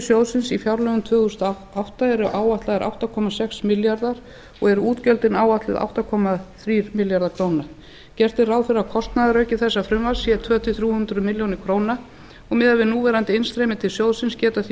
sjóðsins í fjárlögum ársins tvö þúsund og átta eru áætlaðar átta komma sex milljarðar og eru útgjöldin áætluð átta komma þrír milljarðar króna gert er ráð fyrir að kostnaðarauki þessa frumvarps sé tvö hundruð til þrjú hundruð milljóna króna og miðað við núverandi innstreymi til sjóðsins geta því